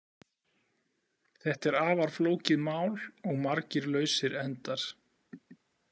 Þetta er afar flókið mál og margir lausir endar.